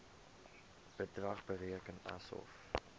bedrag bereken asof